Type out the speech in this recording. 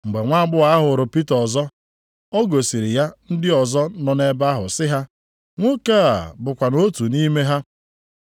Mgbe nwaagbọghọ ahụ hụrụ Pita ọzọ, o gosiri ya ndị ọzọ nọ nʼebe ahụ sị ha, “Nwoke a bụkwanụ otu nʼime ha.”